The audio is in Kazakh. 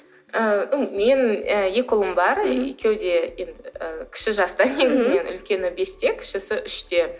ыыы мен і екі ұлым бар екеуі де кіші жаста негізінен үлкені бесте кішісі үште